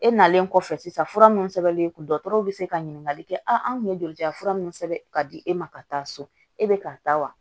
E nalen kɔfɛ sisan fura minnu sɛbɛnnen don dɔgɔtɔrɔw bɛ se ka ɲininkali kɛ an kun ye joli ta fura minnu sɛbɛn ka di e ma ka taa so e bɛ ka taa wa